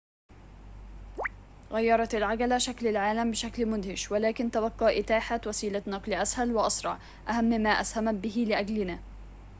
غيرت العجلة شكل العالم بشكل مدهش ولكن تبقى إتاحة وسيلة نقل أسهل وأسرع أهم ما أسهمت به لأجلنا